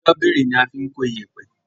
Ṣọ́bìrì ní a fín kọ iyepe